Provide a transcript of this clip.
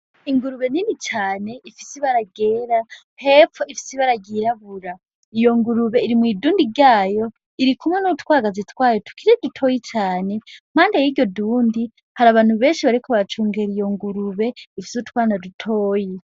Ingurube nini cane ifise ibara ryera. Hepfo ifise ibara ryirabura. Iyo ngurube iri mw' idundi ryayo, iri kumwe n'utwagazi twayo tukiri dutoyi cane. Impande y'iryo dundi hari abantu benshi bariko baracungera iyo ngurube ifise utwana dutoyi.